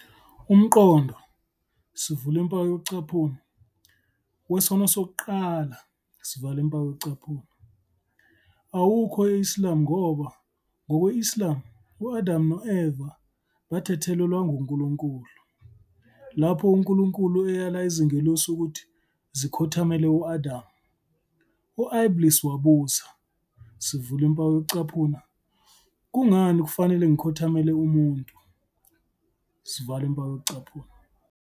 Umqondo "wesono sokuqala" awukho e-Islam ngoba, ngokwe-Islam, u-Adamu no-Eva bathethelelwa nguNkulunkulu. Lapho uNkulunkulu eyala izingelosi ukuthi zikhothamele u-Adam, u-Iblīs wabuza, "Kungani kufanele ngikhothamele umuntu?